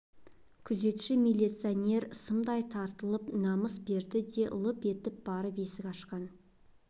күзетші милиционер сымдай тартылып намыс берді де лып етіп барып есік ашқан